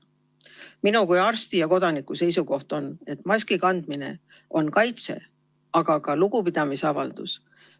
Minu kui arsti ja kodaniku seisukoht on, et maski kandmine on kaitse, aga ka lugupidamisavaldus.